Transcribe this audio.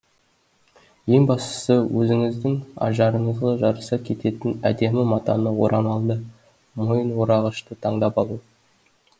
ең бастысы өзіңіздің ажарыңызға жараса кететін әдемі матаны орамалды мойын орағышты таңдап алу